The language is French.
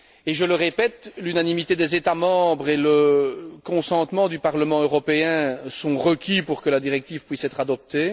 Je le répète, l'unanimité des États membres et le consentement du Parlement européen sont requis pour que la directive puisse être adoptée.